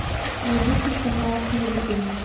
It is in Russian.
найди телеканал с музыкой